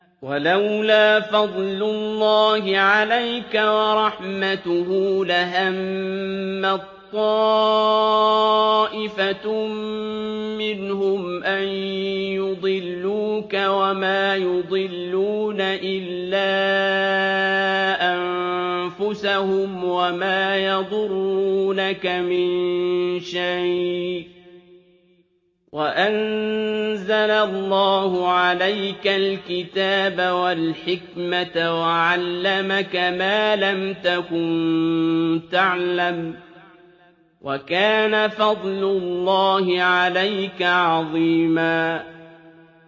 وَلَوْلَا فَضْلُ اللَّهِ عَلَيْكَ وَرَحْمَتُهُ لَهَمَّت طَّائِفَةٌ مِّنْهُمْ أَن يُضِلُّوكَ وَمَا يُضِلُّونَ إِلَّا أَنفُسَهُمْ ۖ وَمَا يَضُرُّونَكَ مِن شَيْءٍ ۚ وَأَنزَلَ اللَّهُ عَلَيْكَ الْكِتَابَ وَالْحِكْمَةَ وَعَلَّمَكَ مَا لَمْ تَكُن تَعْلَمُ ۚ وَكَانَ فَضْلُ اللَّهِ عَلَيْكَ عَظِيمًا